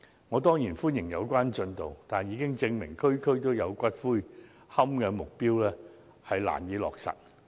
我當然歡迎有關進度，但事實證明"區區都有龕場"的目標難以落實。